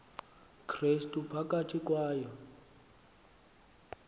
krestu phakathi kwayo